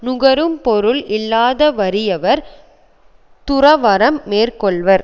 நுகரும் பொருள் இல்லாத வறியவர் துறவறம் மேற்க்கொள்வர்